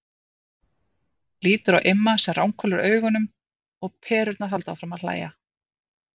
Lítur á Imma sem ranghvolfir augunum og Perurnar halda áfram að hlæja.